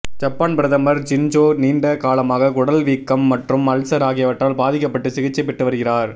Japan பிரதமர் Shinzo நீண்ட காலமாக குடல் வீக்கம் மற்றும் அல்சர் ஆகியவற்றால் பாதிக்கப்பட்டு சிகிச்சை பெற்று வருகிறார்